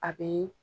A be